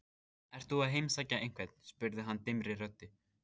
Ert þú að heimsækja einhvern? spurði hann dimmri röddu.